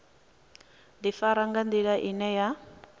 ḓifara nga nḓila ine ya